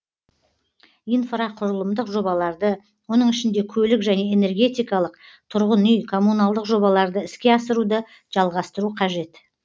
инфрақұрылымдық жобаларды оның ішінде көлік және энергетикалық тұрғын үй коммуналдық жобаларды іске асыруды жалғастыру қажет